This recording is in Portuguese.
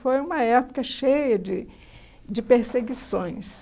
Foi uma época cheia de de perseguições.